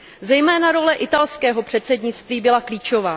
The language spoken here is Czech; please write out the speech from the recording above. Zejména role italského předsednictví byla klíčová.